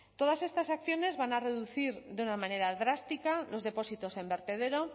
todas estas acciones van a reducir de una manera drástica los depósitos en vertedero